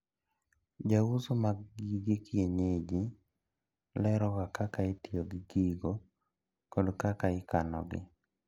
Jouso mag gige kienyeji leroga kaka itiyo gi gigo kod kaka ikanogi.